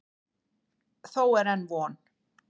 Þó er enn von.